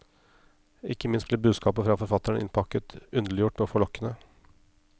Ikke minst blir budskapet fra forfatteren innpakket, underliggjort og forlokkende.